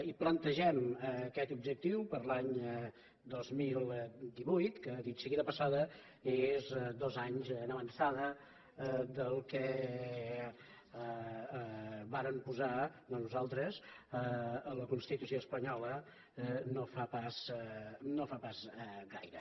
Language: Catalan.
i plantegem aquest objectiu per a l’any dos mil divuit que dit sigui de passada és dos anys en avançada del que varen posar no nosaltres a la constitució espanyola no fa pas gaire